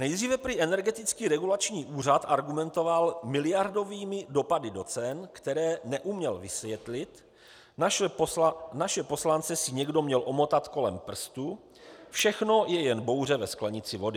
Nejdříve prý Energetický regulační úřad argumentoval miliardovými dopady do cen, které neuměl vysvětlit, naše poslance si někdo měl omotat kolem prstu, všechno je jen bouře ve sklenici vody.